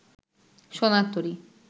সোনার তরী